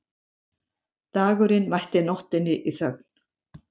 Dagurinn mætti nóttinni í þögn.